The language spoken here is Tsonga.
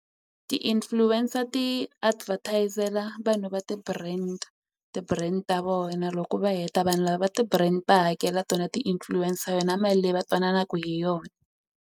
Ti-influencer ti advertise-la vanhu va ti-brand ti-brand ta vona loko va heta vanhu lava va ti-brand va hakela tona ti-influencer yona mali leyi va twananaku hi yona.